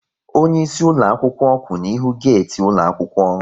Onyeisi ụlọakwụkwọ kwụ n'ihu geeti ụlọaɑkwụkwọ